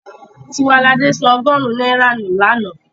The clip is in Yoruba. Tiwaladé sọ ọgọ́rùn-ún náírà nù lánàá.